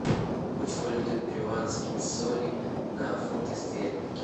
курс валюты перуанские соли на фунты стерлинги